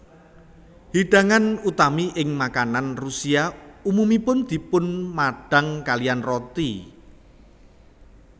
Hidangan utami ing makanan Rusia umumipun dipunmadang kaliyan roti